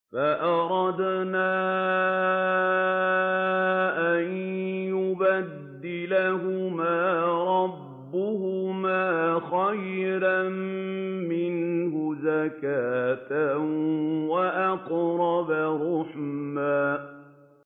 فَأَرَدْنَا أَن يُبْدِلَهُمَا رَبُّهُمَا خَيْرًا مِّنْهُ زَكَاةً وَأَقْرَبَ رُحْمًا